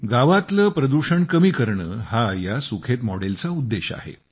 गावातले प्रदूषण कमी करणे हा या सुखेत मॉडेल चा उद्देश आहे